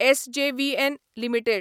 SJVN limited